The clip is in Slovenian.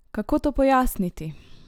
Kako to pojasniti?